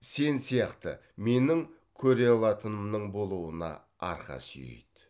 сен сияқты менің болуына арқа сүйейді